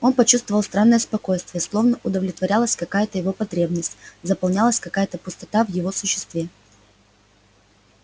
он почувствовал странное спокойствие словно удовлетворялась какая то его потребность заполнялась какая то пустота в его существе